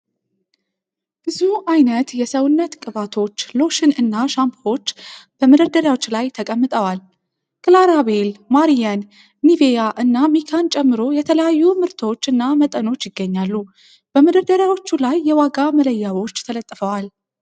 ብዙ አይነት የሰውነት ቅባቶች፣ ሎሽን እና ሻምፖዎች በመደርደሪያዎች ላይ ተቀምጠዋል። ክላራቤል፣ ማሪየን፣ ኒቬያ እና ሚካን ጨምሮ የተለያዩ ምርቶች እና መጠኖች ይገኛሉ። በመደርደሪያዎቹ ላይ የዋጋ መለያዎች ተለጥፈዋል።